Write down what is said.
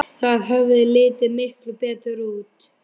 Það hefði litið miklu betur út.